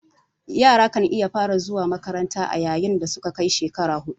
Yara kan iya fara zuwa makanranta a yayin dasuka kai shekara hudu